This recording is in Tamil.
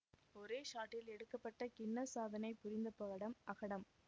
ஒரே ஷாட்டில் எடுக்க பட்டு கின்னஸ் சாதனை புரிந்த படம் அகடம்